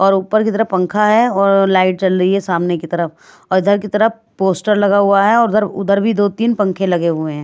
और ऊपर की तरफ पंखा है और लाइट चल रही है सामने की तरफ और इधर की तरफ पोस्टर लगा हुआ है और उधर उधर भी दो-तीन पंखे लगे हुए हैं।